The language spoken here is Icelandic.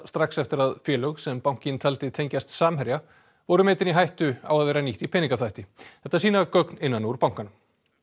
strax eftir að félög sem bankinn taldi tengjast Samherja voru metin í hættu á að vera nýtt í peningaþvætti þetta sýna gögn innan úr bankanum